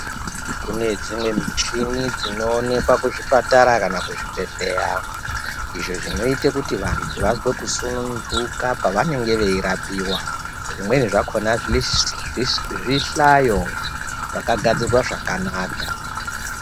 Kune dzimweni muchini dzinoonekwa kuzvipatara kana kuzvibhehleya izvi zvinoita kuti vantu vazwe kusununguka pavanenge veirapiwa zvimweni zvakona zvihlayo zvakagadzirwa zvakanaka .